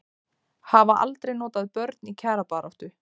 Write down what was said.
Hafa aldrei notað börn í kjarabaráttu